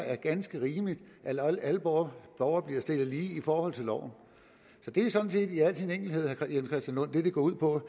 er ganske rimeligt at alle borgere borgere bliver stillet lige i forhold til loven så det er sådan set i al sin enkelhed det det går ud på